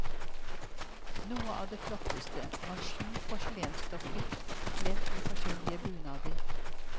Noe av det flotteste var sju porselensdukker kledd i forskjellige bunader.